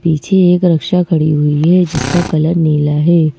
पीछे एक रक्षा खड़ी हुई है जिसका कलर नीला है।